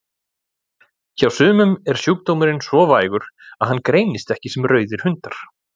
Hjá sumum er sjúkdómurinn svo vægur að hann greinist ekki sem rauðir hundar.